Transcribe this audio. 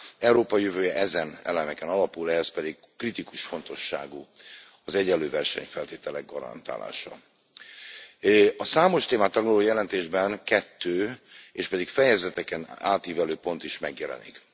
Európa jövője ezen elemeken alapul, ehhez pedig kritikus fontosságú az egyenlő versenyfeltételek garantálása. A számos témát taglaló jelentésben kettő, éspedig fejezeteken átívelő pont is megjelenik.